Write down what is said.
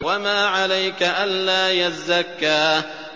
وَمَا عَلَيْكَ أَلَّا يَزَّكَّىٰ